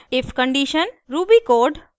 if condition ruby code